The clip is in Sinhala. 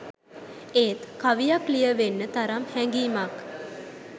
ඒත් කවියක් ලිය වෙන්න තරම් හැඟීමක්